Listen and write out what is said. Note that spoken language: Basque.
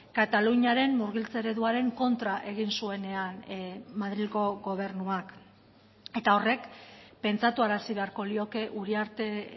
kataluniaren murgiltze ereduaren kontra egin zuenean madrilgo gobernuak eta horrek pentsatuarazi beharko lioke uriarte